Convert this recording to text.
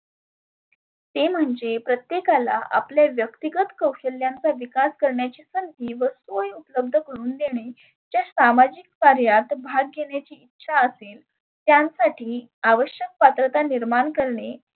ते म्हणजे प्रत्येकाला आपले व्यक्तीगत कौशल्यांचा विकास करण्याची संधी व सोय उपलब्ध करुण देणे. ज्या सामाजीक कार्यात भाग घेण्याची इच्छा असेल त्यां साठी आवश्यक पात्रता निर्मान करणे